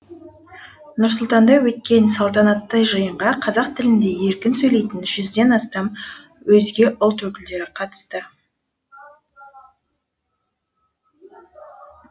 нұр сұлтанда өткен салтанатты жиынға қазақ тілінде еркін сөйлейтін жүзден астам өзге ұлт өкілдері қатысты